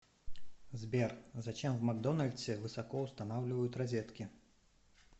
сбер зачем в макдональдсе высоко устанавливают розетки